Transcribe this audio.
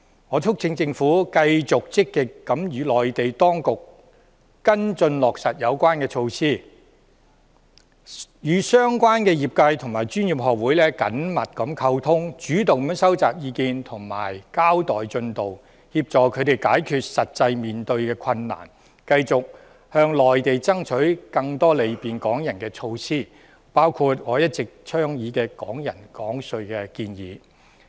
我促請政府繼續積極地與內地當局跟進落實有關措施，與相關業界和專業學會緊密溝通，主動收集意見和交代進度，協助他們解決實際面對的困難，繼續向內地爭取更多便利港人的措施，包括我一直倡議的"港人港稅"安排。